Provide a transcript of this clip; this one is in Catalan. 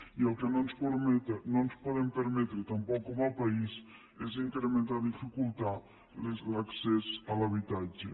i el que no ens podem permetre tampoc com a país és incrementar o dificultar l’accés a l’habitatge